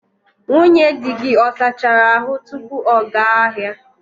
Nwunye di gị ọ sachara ahu tupu ọ gaa ahịa?